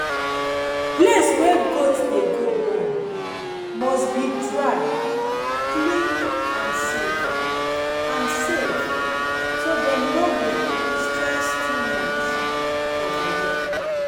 place wey goat dem dey go born must be dry clean and safe and safe so dem no go stress too much for belle.